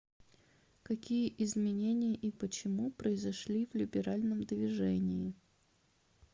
какие изменения и почему произошли в либеральном движении